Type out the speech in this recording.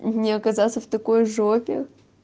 не оказаться в такой жопе